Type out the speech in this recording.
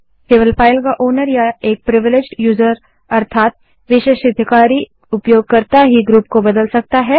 केवल फाइल का ओनर या एक प्रिविलेज्ड यूजर विशेषाधिकारी उपयोगकर्ता ही ग्रुप को बदल सकता है